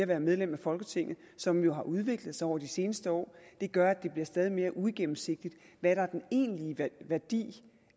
være medlem af folketinget som jo har udviklet sig over de seneste år og det gør at det bliver stadig mere uigennemsigtigt hvad der er den egentlige værdi